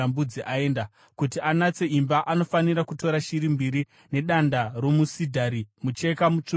Kuti anatse imba, anofanira kutora shiri mbiri nedanda romusidhari, mucheka mutsvuku nehisopi.